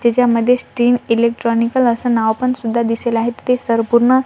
त्याच्यामध्येच तीन इलेक्ट्रॉनिकल असं नाव पण सुद्धा दिसेल आहेत ते संपूर्ण --